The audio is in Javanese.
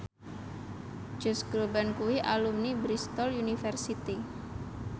Josh Groban kuwi alumni Bristol university